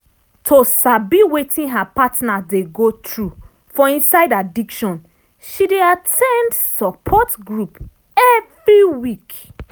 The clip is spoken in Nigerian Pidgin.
to sabi wetin her partner dey go through for inside addiction she dey at ten d support group every week.